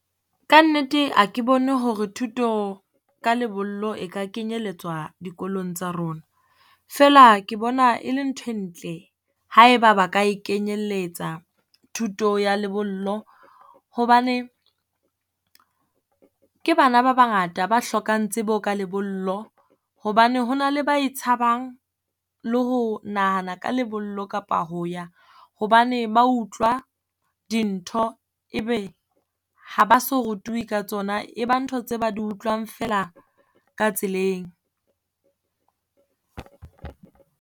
Kannete a ke bone hore thuto ka lebollo e ka kenyelletswa dikolong tsa rona. Feela ke bona e le nthwe ntle ha e ba ba ka e kenyelletsa thuto ya lebollo, hobane ke bana ba bangata ba hlokang tsebo ka lebollo, hobane ho na le ba e tshabang. Le ho nahana ka lebollo kapa ho ya hobane ba utlwa dintho e be ha ba so rutuwi ka tsona. E ba ntho tse ba di utlwang feela ka tseleng.